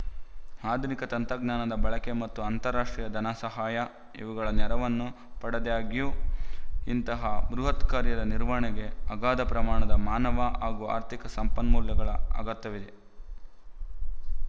ಆಧುನಿಕ ತಂತ್ರಜ್ಞಾನದ ಬಳಕೆ ಮತ್ತು ಅಂತರರಾಷ್ಟ್ರೀಯ ಧನಸಹಾಯಇವುಗಳ ನೆರವನ್ನು ಪಡೆದಾಗ್ಯೂ ಇಂತಹ ಬೃಹತ್‍ಕಾರ್ಯದ ನಿರ್ವಹಣೆಗೆ ಅಗಾಧ ಪ್ರಮಾಣದ ಮಾನವ ಹಾಗೂ ಆರ್ಥಿಕ ಸಂಪನ್ಮೂಲಗಳ ಅಗತ್ಯವಿದೆ